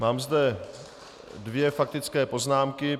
Mám zde dvě faktické poznámky.